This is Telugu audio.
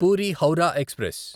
పూరి హౌరా ఎక్స్ప్రెస్